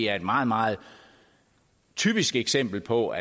er et meget meget typisk eksempel på